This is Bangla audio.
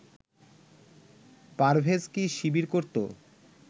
পারভেজ কি শিবির করতো